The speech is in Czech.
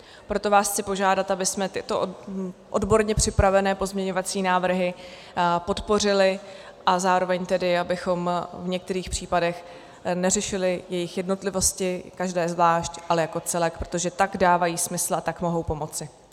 Proto vás chci požádat, abychom tyto odborně připravené pozměňovacími návrhy podpořili a zároveň tedy abychom v některých případech neřešili jejich jednotlivosti, každé zvlášť, ale jako celek, protože tak dávají smysl, a tak mohou pomoci.